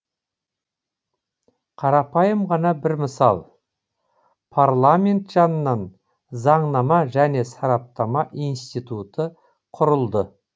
қарапайым ғана бір мысал парламент жанынан заңнама және сараптама институты құрылды